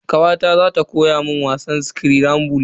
Kawata za ta koya mun wasan skirambul.